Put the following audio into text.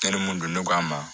Eri mun don n'a ma